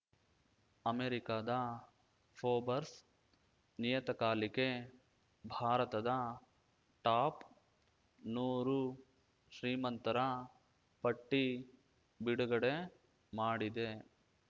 ಅಮೆರಿಕದ ಫೋಬರ್ಸ್ ನಿಯತಕಾಲಿಕೆ ಭಾರತದ ಟಾಪ್‌ ನೂರು ಶ್ರೀಮಂತರ ಪಟ್ಟಿಬಿಡುಗಡೆ ಮಾಡಿದೆ